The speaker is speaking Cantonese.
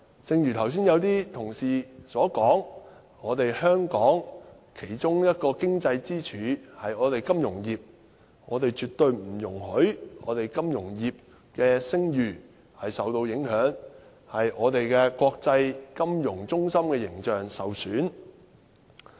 正如剛才有些同事所說，香港其中一根經濟支柱是金融業，我們絕對不容許金融業的聲譽受到影響，令我們國際金融中心的形象受損。